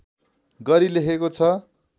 गरी लेखेको छ